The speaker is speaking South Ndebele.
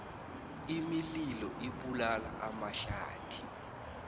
imililo ibulala amahlathi